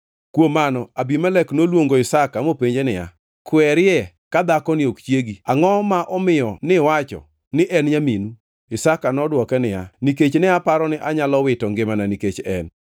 Kuom mano Abimelek noluongo Isaka mopenje niya, “Kwerie ka dhakoni ok chiegi! Angʼo ma omiyo niwacho, ‘Ni en nyaminu’?” Isaka nodwoke niya, “Nikech ne aparo ni anyalo wito ngimana nikech en.”